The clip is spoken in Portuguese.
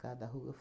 Cada ruga.